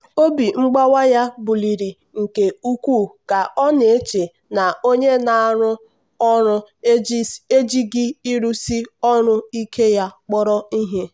obi mgbawa ya buliiri nke ukwuu ka ọ na-eche na onye ọ na-arụrụ ọrụ ejighị ịrụsi ọrụ ike ya kpọrọ ihe.